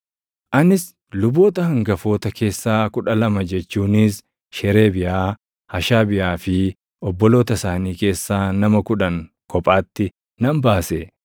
Anis luboota hangafoota keessaa kudha lama jechuunis Sheereebiyaa, Hashabiyaa fi obboloota isaanii keessaa nama kudhan kophaatti nan baase;